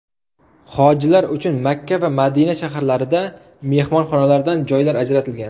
Hojilar uchun Makka va Madina shaharlarida mehmonxonalardan joylar ajratilgan.